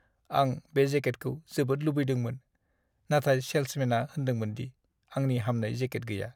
आं बे जेकेटखौ जोबोद लुबैदोंमोन, नाथाय सेल्समेनआ होनदोंमोन दि आंनि हामनाइ जेकेट गैया।